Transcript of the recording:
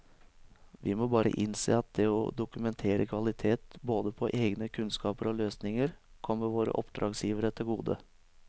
Vi må bare innse at det å dokumentere kvalitet både på egne kunnskaper og løsninger kommer våre oppdragsgivere til gode.